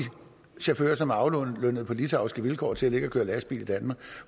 chauffører som er aflønnet på litauiske vilkår til at køre lastbil i danmark